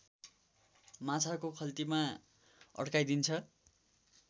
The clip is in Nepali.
माछाको खल्तीमा अड्काइदिन्छ